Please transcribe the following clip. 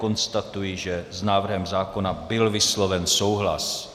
Konstatuji, že s návrhem zákona byl vysloven souhlas.